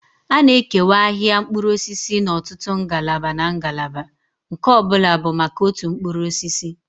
A na-ekewa ahịa mkpụrụ osisi n'ọtụtụ ngalaba na ngalaba, nke ọ bụla bụ maka otu mkpụrụ osisi.